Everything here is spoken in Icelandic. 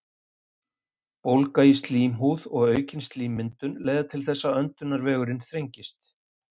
Bólga í slímhúð og aukin slímmyndun leiða til þess að öndunarvegurinn þrengist.